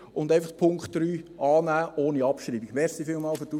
Und Punkt 3: einfach annehmen ohne Abschreibung.